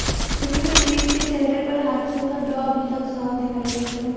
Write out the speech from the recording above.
जख्मी प्रतिक के चेहरे पर हादसे का डॉ अभी तक साफ दिखाई देता है